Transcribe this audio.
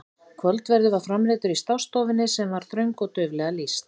Kvöldverður var framreiddur í stássstofunni sem var þröng og dauflega lýst.